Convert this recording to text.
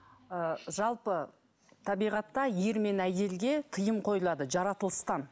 ы жалпы табиғатта ер мен әйелге тыйым қойылады жаратылыстан